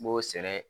N b'o sɛnɛ